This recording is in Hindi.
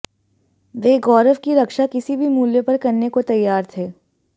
वे गौरव की रक्षा किसी भी मूल्य पर करने को तैयार थे